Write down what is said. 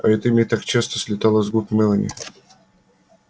а это имя так часто слетало с губ мелани